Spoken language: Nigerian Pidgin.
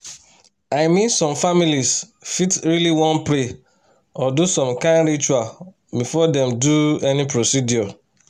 i mean some families fit really wan pray or do some kind ritual before dem do any procedure.